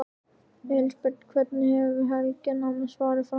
Elísabet: Hvernig hefur helgin annars farið fram?